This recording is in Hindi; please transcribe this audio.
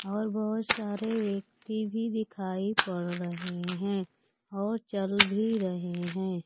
और बहुत सारे व्यक्ति भी दिखाई पड़ रहे हैं और चल भी रहे हैं।